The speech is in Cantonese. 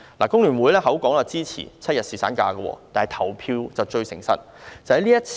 工聯會口說支持7日侍產假，但投票結果是不會騙人的。